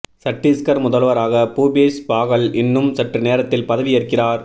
சட்டீஸ்கர் முதல்வராக பூபேஷ் பாகல் இன்னும் சற்று நேரத்தில் பதவி ஏற்கிறார்